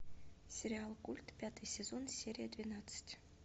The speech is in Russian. сериал культ пятый сезон серия двенадцать